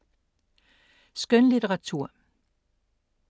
Skønlitteratur